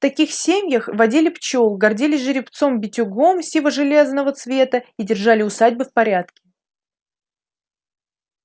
в таких семьях водили пчёл гордились жеребцом битюгом сиво железного цвета и держали усадьбы в порядке